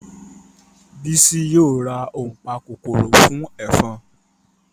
Bísí yóò ra ònpakòkòrò fún ẹ̀fọn